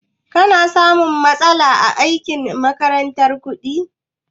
Ka na samun matsala aiki a ma'aikatar kuɗi?